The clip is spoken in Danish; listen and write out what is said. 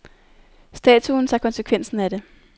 Statuen tager konsekvensen af det.